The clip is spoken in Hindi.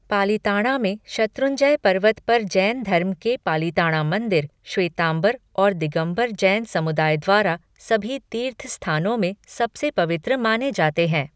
पालिताणा में शत्रुंजय पर्वत पर जैन धर्म के पालिताणा मंदिर, श्वेतांबर और दिगंबर जैन समुदाय द्वारा सभी तीर्थ स्थानों में सबसे पवित्र माने जाते हैं।